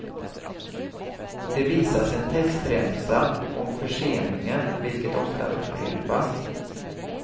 Det visas en textremsa om förseningen, vilket ofta upprepas.